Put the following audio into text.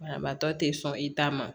Banabaatɔ te sɔn i ta ma